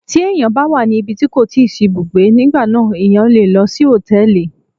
Tí ẹ̀yàn bá wà ní ibi tí kò ti sí ibùgbé, nígbà náà ẹ̀yàn le lọ sí Hòtẹ́lìì.